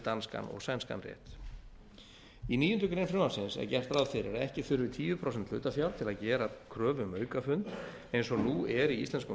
danskan og sænskan rétt í níundu grein frumvarpsins er gert ráð fyrir að ekki þurfi tíu prósent hlutafjár til að gera kröfu um aukafund eins og nú er í íslenskum